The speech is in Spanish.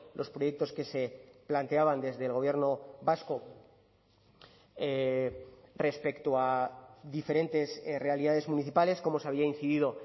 los proyectos que se planteaban desde el gobierno vasco respecto a diferentes realidades municipales como se había incidido